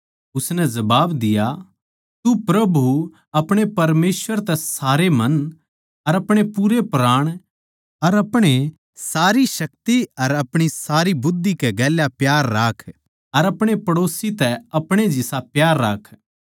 उसनै जबाब दिया तू प्रभु अपणे परमेसवर तै अपणे सारै मन अपणे पूरे प्राण अर अपणे सारी शक्ति अर अपणी सारी बुध्दि कै गेल्या प्यार राख अर अपणे पड़ोसी तै अपणे जिसा प्यार राख